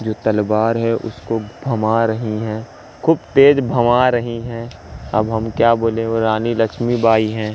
जो तलवार है उसको भमा रही है खूब तेज भमा रही हैं अब हम क्या बोले वो रानी लक्ष्मीबाई हैं।